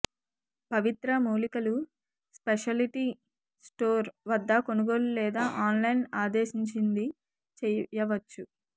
పవిత్ర మూలికలు specialty store వద్ద కొనుగోలు లేదా ఆన్లైన్ ఆదేశించింది చేయవచ్చు